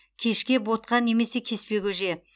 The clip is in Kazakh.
кешке ботқа немесе кеспе көже